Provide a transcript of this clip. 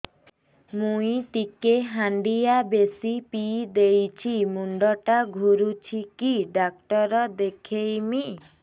ମୁଇ ଟିକେ ହାଣ୍ଡିଆ ବେଶି ପିଇ ଦେଇଛି ମୁଣ୍ଡ ଟା ଘୁରୁଚି କି ଡାକ୍ତର ଦେଖେଇମି